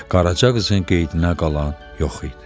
Qaraca qızın qeydinə qalan yox idi.